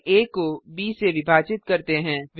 हम आ को ब से विभाजित करते हैं